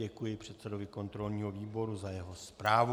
Děkuji předsedovi kontrolního výboru za jeho zprávu.